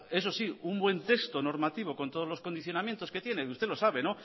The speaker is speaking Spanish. eso sí un buen texto normativo con todos los condicionamientos que tiene usted lo sabe